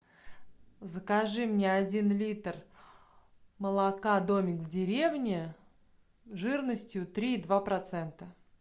закажи мне один литр молока домик в деревне жирностью три и два процента